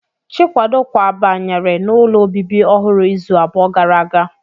Chikwado kwabanyere n'ụlọ obibi ọhụrụ izu abụọ gara aga